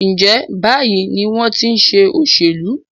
ǹjẹ́ báyìí ni wọ́n ti í ṣe òṣèlú?